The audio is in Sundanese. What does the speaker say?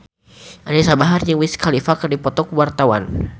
Anisa Bahar jeung Wiz Khalifa keur dipoto ku wartawan